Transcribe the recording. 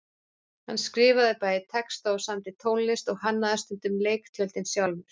Hann skrifaði bæði texta og samdi tónlist og hannaði stundum leiktjöldin sjálfur.